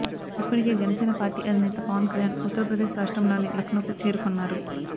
ఇప్పటికే జనసేన పార్టీ అధినేత పవన్ కల్యాణ్ ఉత్తరప్రదేశ్ రాష్ట్రంలోని లక్నోకు చేరుకున్నారు